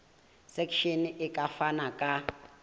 section e ka fana ka